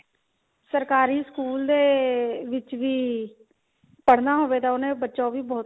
ਸਰਕਾਰੀ ਸਕੂਲ ਦੇ ਵਿੱਚ ਵੀ ਪੜ੍ਹਨਾ ਹੋਵੇ ਤਾਂ ਉਹਨੇ ਬੱਚਾ ਉਹ ਵੀ ਬਹੁਤ